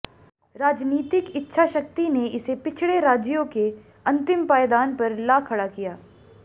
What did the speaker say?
राजनीतिक इच्छा शक्ति ने इसे पिछड़े राज्यों के अंतिम पायदान पर ला खड़ा किया